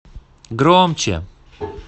громче